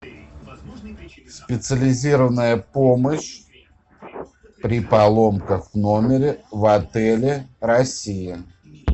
специализированная помощь при поломках в номере в отеле россия